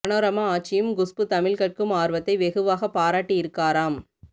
மனோரமா ஆச்சியும் குஷ்பூ தமிழ் கற்கும் ஆர்வத்தை வெகுவாக பாராட்டி இருக்காராம்